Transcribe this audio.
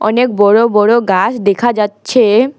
অনেক বড় বড় গাছ দেখা যাচ্ছে।